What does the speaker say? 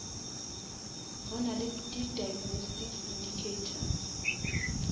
go nale di diagnostic indicators